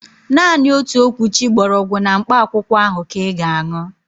Naanị otu okwuchi gbọrọgwụ na mkpa akwụkwọ ahụ ka ị ga-aṅụ